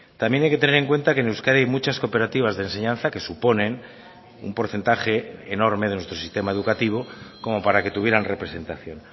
también hay que tener en cuenta que en euskadi hay muchas cooperativas de enseñanza que suponen un porcentaje enorme de nuestro sistema educativo como para que tuvieran representación